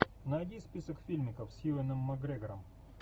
найди список фильмиков с юэном макгрегором